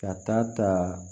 Ka taa ta